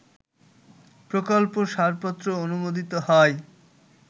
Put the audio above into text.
প্রকল্প সারপত্র অনুমোদিত হয়